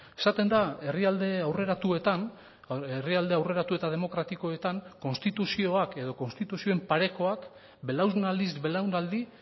esaten da herrialde aurreratuetan herrialde aurreratu eta demokratikoetan konstituzioak edo konstituzioen parekoak belaunaldiz belaunaldi